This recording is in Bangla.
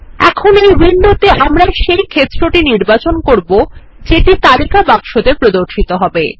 এখন এই উইন্ডোতে আমরা সেই ক্ষেত্রটি নির্বাচন করব যেটি তালিকা বাক্সতে প্রদর্শিত হবে